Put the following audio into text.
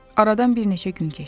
Aradan bir neçə gün keçdi.